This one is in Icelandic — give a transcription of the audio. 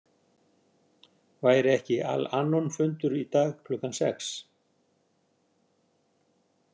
Væri ekki Al- Anonfundur í dag klukkan sex?